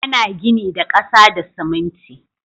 Ana gini da ƙasa da siminti